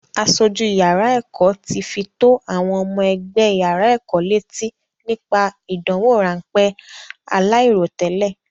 Aṣojú yàrá ẹ̀kọ́ ti fi tó àwọn ọmọ ẹgbẹ́ yàrá ẹ̀kọ́ létí nípa ìdánwò ráńpẹ́ aláìròtẹ́lẹ́.